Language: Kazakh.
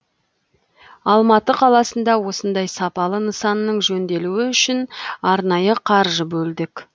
алматы қаласында осындай сапалы нысанның жөнделуі үшін арнайы қаржы бөлдік